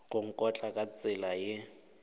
go nkotla ka tsela ye